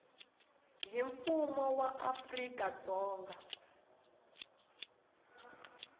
hi mfumo wa afrika dzonga